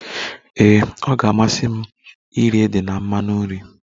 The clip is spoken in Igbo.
Ee, ọ ga-amasị m iri ede na mmanụ nri